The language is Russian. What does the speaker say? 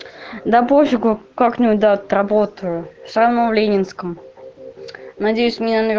да пофигу как-нибудь да отработаю сама в ленинском надеюсь мне